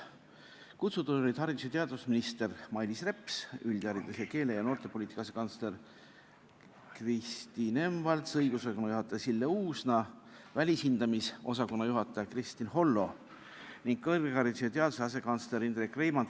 Kutsutud olid haridus- ja teadusminister Mailis Reps, üldharidus-, keele- ja noortepoliitika asekantsler Kristi Nemvalts, õigusosakonna juhataja Sille Uusna, välishindamisosakonna juhataja Kristin Hollo ning kõrghariduse ja teaduse asekantsler Indrek Reimand ...